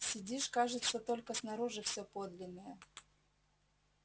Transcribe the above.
сидишь кажется только снаружи все подлинное